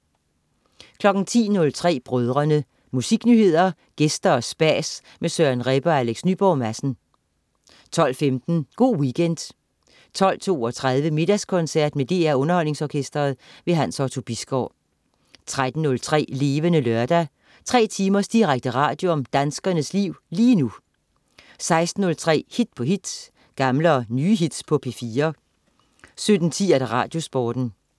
10.03 Brødrene. Musiknyheder, gæster og spas med Søren Rebbe og Alex Nyborg Madsen 12.15 Go' Weekend 12.32 Middagskoncert med DR Underholdningsorkestret. Hans Otto Bisgaard 13.03 Levende Lørdag. Tre timers direkte radio om danskernes liv lige nu 16.03 Hit på hit. Gamle og nye hits på P4 17.10 Radiosporten